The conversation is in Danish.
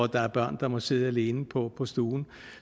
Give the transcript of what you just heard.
der er børn der må sidde alene på stuen